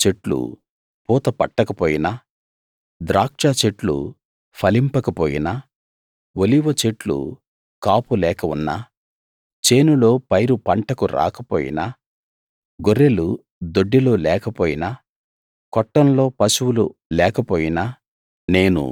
అంజూరపు చెట్లు పూత పట్టకపోయినా ద్రాక్షచెట్లు ఫలింపక పోయినా ఒలీవచెట్లు కాపులేక ఉన్నా చేనులో పైరు పంటకు రాకపోయినా గొర్రెలు దొడ్డిలో లేకపోయినా కొట్టంలో పశువులు లేకపోయినా